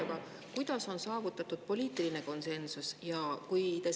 Aga kuidas on saavutatud poliitiline konsensus?